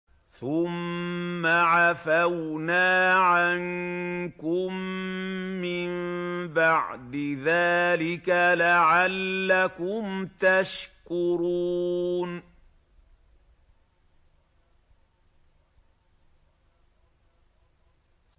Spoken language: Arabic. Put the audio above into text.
ثُمَّ عَفَوْنَا عَنكُم مِّن بَعْدِ ذَٰلِكَ لَعَلَّكُمْ تَشْكُرُونَ